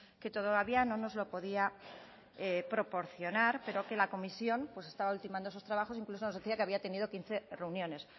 que todavía no nos lo podía proporcionar pero que la comisión estaba ultimando esos trabajos incluso nos decía que había tenido quince reuniones